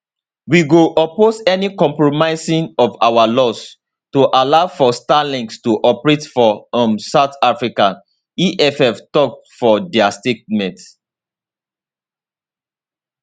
we go oppose any compromising of our laws to allow for starlink to operate for um south africa eff tok for dia statement